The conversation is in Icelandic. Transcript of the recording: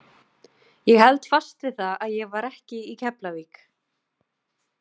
Ég held fast við það að ég var ekki í Keflavík